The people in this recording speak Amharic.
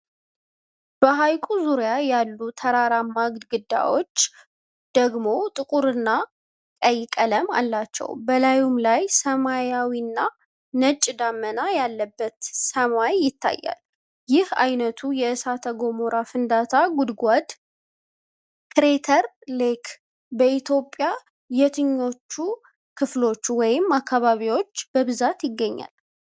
በሐይቁ ዙሪያ ያሉት ተራራማ ግድግዳዎች ደግሞ ጥቁርና ቀይ ቀለም አላቸው። በላዩም ላይ ሰማያዊና ነጭ ደመና ያለበት ሰማይ ይታያል። ይህ ዓይነቱ የእሳተ ገሞራ ፍንዳታ ጉድጓድ (ክሬተር ሌክ) በኢትዮጵያ የትኞቹ ክልሎች ወይም አካባቢዎች በብዛት ይገኛል?